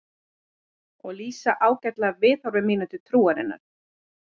Og lýsa ágætlega viðhorfi mínu til trúarinnar.